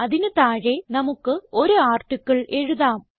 അതിന് താഴെ നമുക്ക് ഒരു ആർട്ടിക്കിൾ എഴുതാം